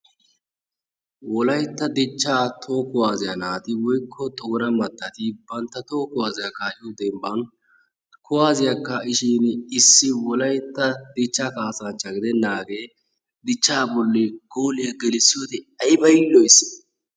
Wolayttaa dichcha toho kuwassiyaa naati woykko Xoona mattati bantta toho kuwassiya kaa'iyo dembban kuwassiya kaa'ishin issi Wolaytta dichcha kaassanchcha gidenaagee dichcha bolli gooliyaa gelissiyoode aybba yiiloys.